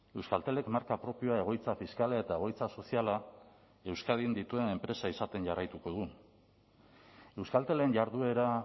euskaltelek marka propioa egoitza fiskala eta egoitza soziala euskadin dituen enpresa izaten jarraituko dugu euskaltelen jarduera